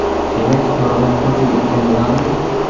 Demak, oradan to‘rt yil o‘tgan bo‘ladimi?